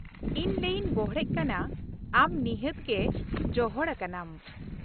ᱤᱧ ᱞᱟᱹᱭᱛᱮᱧ ᱵᱚᱲᱦᱮᱜ ᱠᱟᱱᱟ, ᱟᱢ ᱱᱤᱦᱟᱹᱛ ᱜᱮ ᱡᱚᱦᱚᱲ ᱟᱠᱟᱱᱟᱢ ᱾